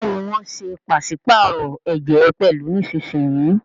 Béèni wón ṣe paṣipaarọ ẹjẹ pẹlu nísìsiyìí.